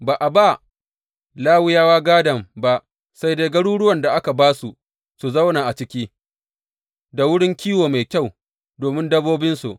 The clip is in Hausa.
Ba a ba Lawiyawa gādon ba sai dai garuruwan da aka ba su su zauna a ciki, da wurin kiwo mai kyau domin dabbobinsu.